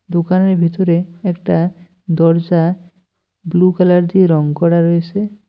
দোকানের ভিতরে একটা দরজা ব্লু কালার দিয়ে রং করা রয়েছে।